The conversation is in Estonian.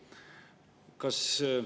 Mismoodi on võimalik tagada laste kaitse?